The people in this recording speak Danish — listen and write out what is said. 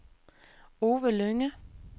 Ove Lynge